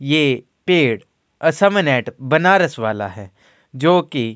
ये पेड़ a sermon at Banaras वाला है जो कि --